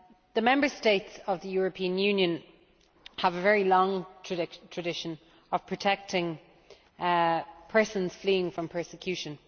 The Member States of the European Union have a very long tradition of protecting persons fleeing from persecution.